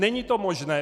Není to možné!